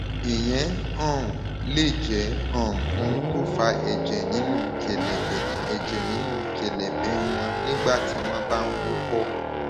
ìyẹn um lè jẹ um ohun tó fa ẹjẹ nínú kẹlẹbẹ ẹjẹ nínú kẹlẹbẹ wọn nígbà tí wọn bá ń wúkọ